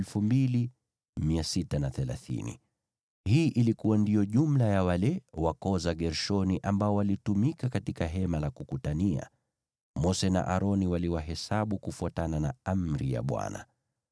Hii ilikuwa ndiyo jumla ya wale wa koo za Gershoni ambao walitumika katika Hema la Kukutania. Mose na Aroni waliwahesabu kufuatana na amri ya Bwana .